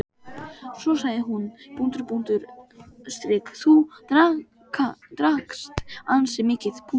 Svo sagði hún:-Þú drakkst ansi mikið.